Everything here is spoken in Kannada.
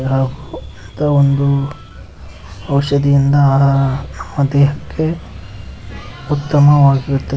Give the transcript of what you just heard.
ಆವ್ ದ ಒಂದು ಔಷಧಿಯಿಂದ ದೇಹಕ್ಕೆ ಉತ್ತಮವಾಗಿರುತ್ತದೆ.